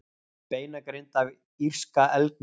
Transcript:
beinagrind af írska elgnum